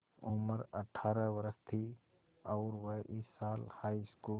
उम्र अठ्ठारह वर्ष थी और वह इस साल हाईस्कूल